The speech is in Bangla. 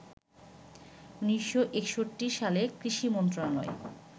১৯৬১ সালে কৃষি মন্ত্রণালয়